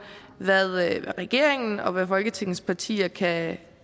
hvad regeringen og hvad folketingets partier kan